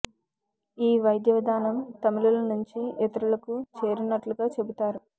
ఈ వైద్య విధానం తమిళుల నుంచి ఇతరులకు చేరినట్లుగా చెబుతారు